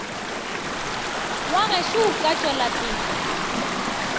wa gešo o ka tšwelapele